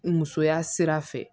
Musoya sira fɛ